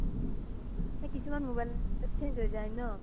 কিছুমান mobile ত change হয় যাই ন